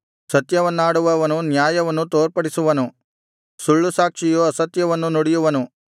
ಸತ್ಯವನ್ನಾಡುವವನು ನ್ಯಾಯವನ್ನು ತೋರ್ಪಡಿಸುವನು ಸುಳ್ಳುಸಾಕ್ಷಿಯು ಅಸತ್ಯವನ್ನು ನುಡಿಯುವನು